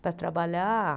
para trabalhar.